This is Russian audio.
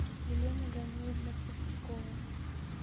елена даниловна простякова